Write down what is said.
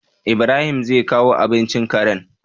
IIbrahim zai kawo abincin Karen?